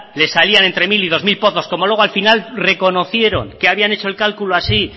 le salían entre mil y dos mil pozos como luego al final reconocieron que habían hecho el cálculo así